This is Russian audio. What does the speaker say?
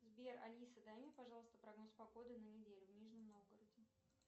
сбер алиса дай мне пожалуйста прогноз погоды на неделю в нижнем новгороде